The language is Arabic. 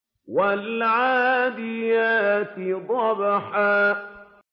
وَالْعَادِيَاتِ ضَبْحًا